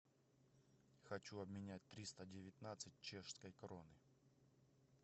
хочу обменять триста девятнадцать чешской кроны